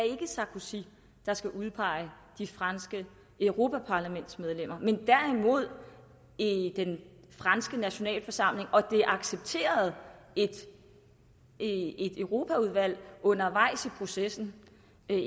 sarkozy der skal udpege de franske europaparlamentsmedlemmer men derimod den franske nationalforsamling og at det accepterede et europaudvalg undervejs i processen